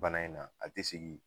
Bana in na a ti sigi.